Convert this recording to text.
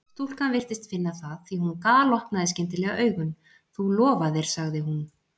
Stúlkan virtist finna það því að hún galopnaði skyndilega augun: Þú lofaðir sagði hún.